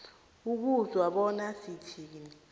ukuzwa bona sithini